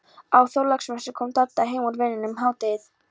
Á Þorláksmessu kom Dadda heim úr vinnunni um hádegið.